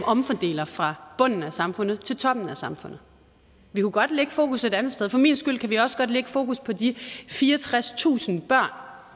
omfordeler fra bunden af samfundet til toppen af samfundet vi kunne godt lægge fokus et andet sted for min skyld kan vi også godt lægge fokus på de fireogtredstusind børn